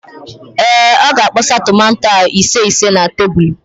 Ee, ọ ga-akpọsa tomanto ahụ ise ise na tebulu.